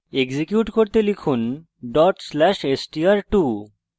execute করতে লিখুন dot slash str2